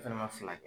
Fɛnɛ ma fila